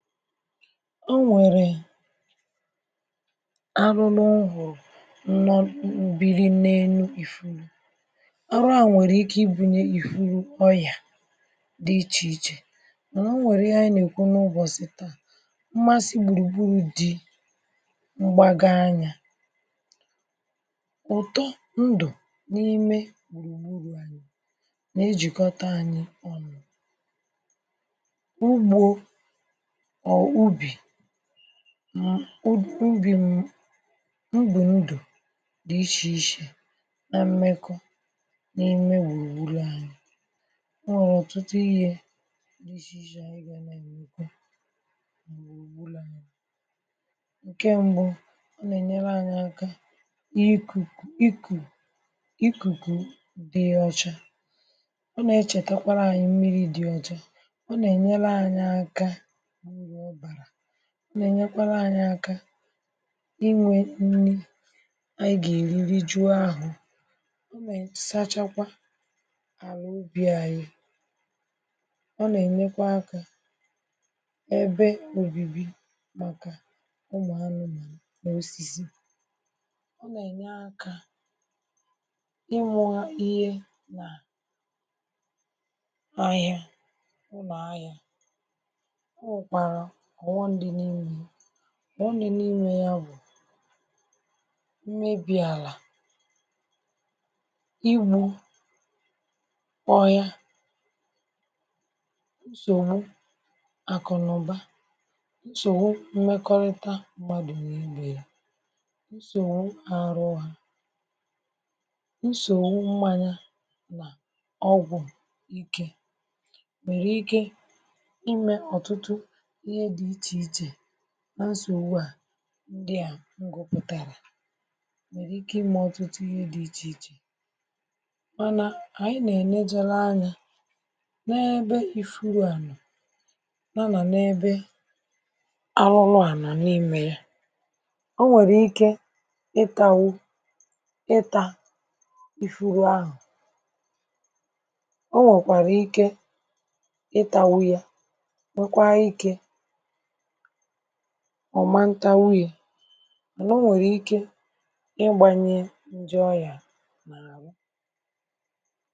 O nwèrè arụrụ m hụ̀rụ̀ nọ̀ bi n’elu ìfuru arụa nwèrè ike ibūnyē ìfuru oyà di ichèichè mànà o nwèrè ihe anyị na-èkwu n’ụbọ̀chị̀ taa mmasị gbùrùgburù di mgbaga anyā ụ̀tọ ndụ̀ n’ime gbùrùgburù anyị̄ na-ejìkọ̀ta ànyị ọnụ̄ ugbō màọbụ̀ ubì ubì ubì ndụ̀ di ichèichè na mmekọ n’ime gbùrùgburù anyī o nwèrè ọ̀tụtụ ihe di ichèichè na-emekwa n’ime gbùrùgburù anyī ǹkè mbụ̄ ọ nà-ènyere ànyị aka ikù ikùkù di ọcha ọ nà-echètèkwara mmirī di ocha o nà-ènyere aka inwē ọ̀bàrà ọ nà-ènyekwara ànyi aka inwē nri ànyi ga-èri rijuo ahụ̄ ọ nà-àsachakwa àrụ obì àyị ọ nà-ènyekwa aka ebe òbibi màkà ụmụ̀ànụ̀mànụ̀ nà osisi ọ nà-ènye aka inwà ihe n’ahịa ụlọ̀ahịa o nwekwàrà ọ̀ghọm di n’imē yā ọ̀ghọm di n’imē yā bụ̀ mmebì àlà igbū ọhịa nsògbu àkụ̀nàụ̀ba nsògbu mmekọrịta mmadụ̀ nà ibè yā nsògbu àrụ ha nsògbu mmaya nà ọgwụ̀ ikē nwèrè ike imē ọ̀tụtụ ihe di ichèichè nà nsògbua ndia m̀ gụpụ̀tàrà nwèrè ike imē ọ̀tụtụ ihe di ichèichè mànà ànyị na-èlejere anyā n’ebe ìfuru nọ̀ n’ebe arụrụa nọ̀ n’imē ya o nwèrè ike ịtānwū ịtā ifuru ahụ̀ o nwèkwàrà ike itānwū ya nwekwara ikē ọ̀ ma ǹtanwu ya mànà o nwèrè ike ịgbānyiē ǹjọ ọyà n’àhụ